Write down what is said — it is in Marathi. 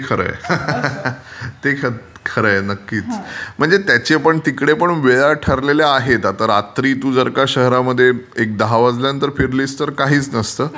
ते खरंय. ते खरं आहे नक्कीच म्हणजे त्याचे पण तिकडे पण वेळा ठरलेल्या आहेत आता रात्री जर का तू शहरामध्ये दहा वाजल्यानंतर फिरलीस तर काहीच नसते.